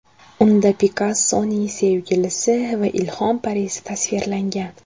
Unda Pikassoning sevgilisi va ilhom parisi tasvirlangan.